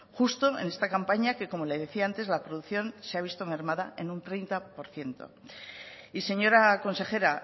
justo en esta campaña que como le decía antes la producción se ha visto mermada en un treinta por ciento y señora consejera